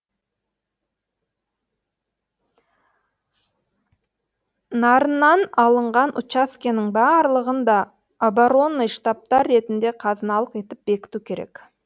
нарыннан алынған учаскенің барлығын да оборонный штабтар ретінде қазыналық етіп бекіту керек